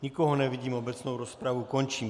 Nikoho nevidím, obecnou rozpravu končím.